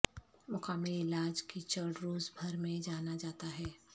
مقامی علاج کیچڑ روس بھر میں جانا جاتا ہے